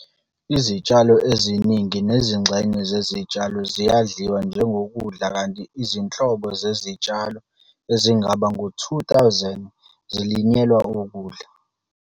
Izitshalo eziningi nezingxenye zezitshalo ziyadliwa njengokudla kanti izinhlobo zezitshalo ezingaba ngu-2 000 zilinyelwa ukudla.